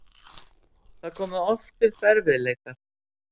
Það komu oft upp erfiðleikar.